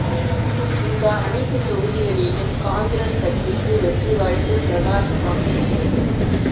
இந்த அனைத்து தொகுதிகளிலும் காங்கிரஸ் கட்சிக்கு வெற்றி வாய்ப்பு பிரகாசமாக இருக்கிறது